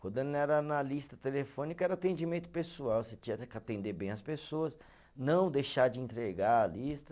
Quando não era na lista telefônica, era atendimento pessoal, você tinha era que atender bem as pessoas, não deixar de entregar a lista.